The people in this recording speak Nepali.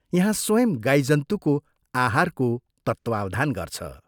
यहाँ स्वयं गाईजन्तुको आहारको तत्वावधान गर्छ।